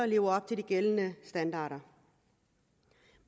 lever op til de gældende standarder